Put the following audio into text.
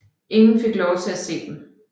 Ingen fik lov til at se dem